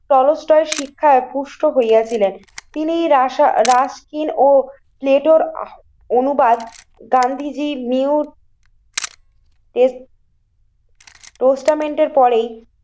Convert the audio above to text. টলস্টল শিক্ষায় পুষ্ট হইয়া ছিলেন। তিনি রাসা রাসকিন ও প্লেটোর অনুবাদ গান্ধীজি নিউ ট্রে পরে